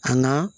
An ka